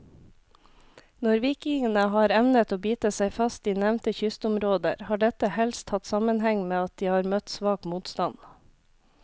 Når vikingene har evnet å bite seg fast i nevnte kystområder, har dette helst hatt sammenheng med at de har møtt svak motstand.